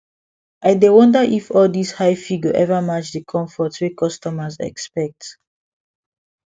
i dey wonder if all these high fee go ever match the comfort wey customers expect